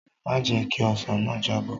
Má jẹ̀ ẹ́ kí ọsàn náà jábọ́!